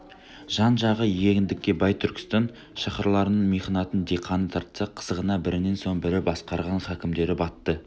жан-жағы егіндікке бай түркістан шаһарларының михнатын диқаны тартса қызығына бірінен соң бірі басқарған хакімдері батты